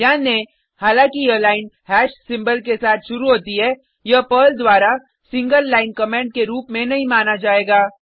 ध्यान दें हालांकि यह लाइन हैश सिंबल के साथ शुरू होती है यह पर्ल द्वारा सिंगल लाइन कमेंट के रूप में नहीं माना जाएगा